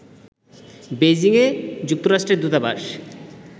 Beijing এ যুক্তরাষ্ট্রের দূতাবাস